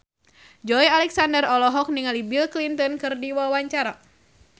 Joey Alexander olohok ningali Bill Clinton keur diwawancara